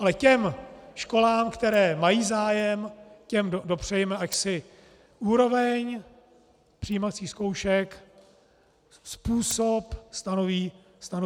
Ale těm školám, které mají zájem, těm dopřejme, ať si úroveň přijímacích zkoušek, způsob stanoví samy.